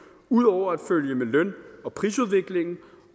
ud over at følge med løn og prisudviklingen